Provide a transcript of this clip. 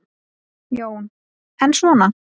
Jón: En svona.